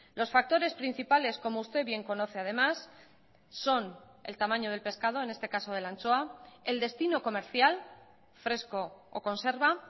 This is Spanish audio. los factores principales como usted bien conoce además son el tamaño del pescado en este caso de la anchoa el destino comercial fresco o conserva